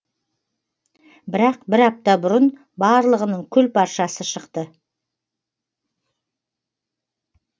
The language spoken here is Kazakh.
бірақ бір апта бұрын барлығының күл паршасы шықты